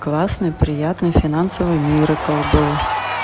классный приятный финансовый миракл был